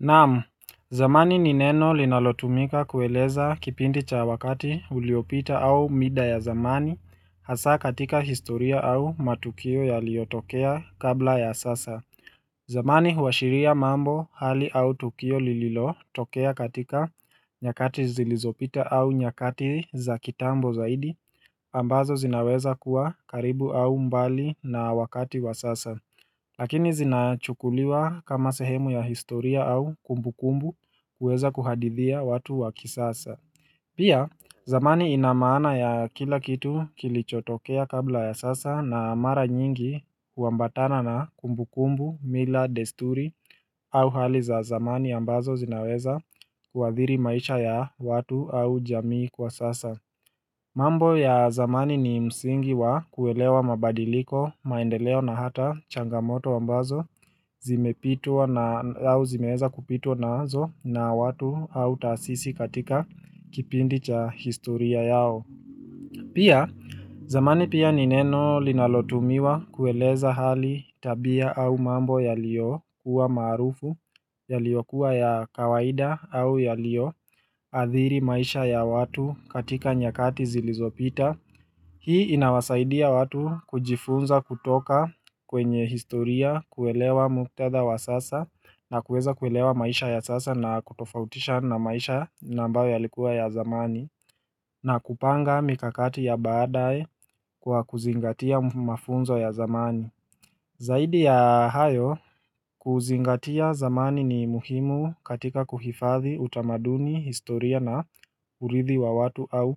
Naam, zamani nineno linalotumika kueleza kipindi cha wakati uliopita au mida ya zamani, hasa katika historia au matukio ya liyotokea kabla ya sasa. Zamani huashiria mambo hali au tukio lililo tokea katika nyakati zilizopita au nyakati za kitambo zaidi, ambazo zinaweza kuwa karibu au mbali na wakati wa sasa. Lakini zinachukuliwa kama sehemu ya historia au kumbukumbu kuweza kuhadithia watu wa kisasa. Pia, zamani inamaana ya kila kitu kilichotokea kabla ya sasa na mara nyingi uambatana na kumbukumbu, mila, desturi au hali za zamani ambazo zinaweza kua thiri maisha ya watu au jamii kwa sasa. Mambo ya zamani ni msingi wa kuelewa mabadiliko, maendeleo na hata changamoto ambazo zimeweza kupitwa nazo na watu au taasisi katika kipindi cha historia yao. Pia zamani pia nineno linalotumiwa kueleza hali tabia au mambo ya liyo kuwa maarufu ya liyokuwa ya kawaida au ya liyo athiri maisha ya watu katika nyakati zilizopita. Hii inawasaidia watu kujifunza kutoka kwenye historia kuelewa muktadha wa sasa na kuweza kuelewa maisha ya sasa na kutofautisha na maisha na ambayo yalikuwa ya zamani na kupanga mikakati ya baadae kwa kuzingatia mafunzo ya zamani Zaidi ya hayo kuzingatia zamani ni muhimu katika kuhifadhi utamaduni historia na urithi wa watu au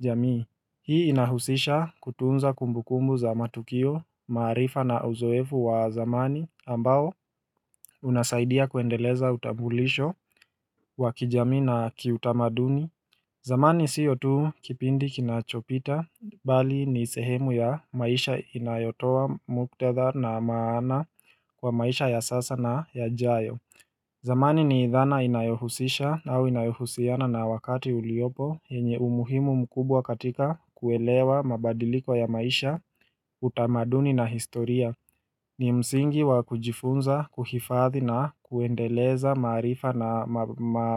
jamii Hii inahusisha kutunza kumbukumbu za matukio maarifa na uzoefu wa zamani ambao unasaidia kuendeleza utambulisho wa kijamii na kiutamaduni zamani siyo tu kipindi kinachopita bali ni sehemu ya maisha inayotowa muktadha na maana kwa maisha ya sasa na ya jayo zamani ni dhana inayohusisha na wakati uliopo yenye umuhimu mkubwa katika kuelewa mabadiliko ya maisha utamaduni na historia ni msingi wa kujifunza, kuhifadhi na kuendeleza maarifa na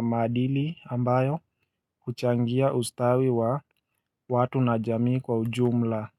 maadili ambayo huchangia ustawi wa watu na jamii kwa ujumla.